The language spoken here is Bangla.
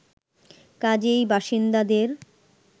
কাজেই বাসিন্দাদের